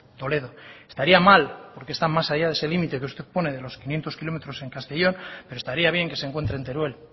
toledo estaría mal porque está más allá de ese límite que usted pone de los quinientos kilómetros en castellón pero estaría bien que se encuentre en teruel